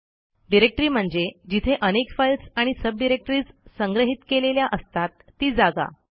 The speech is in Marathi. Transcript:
डिरेक्टरी म्हणजे जिथे अनेक फाईल्स आणि सब डिरेक्टरीज संग्रहित केलेल्या असतात ती जागा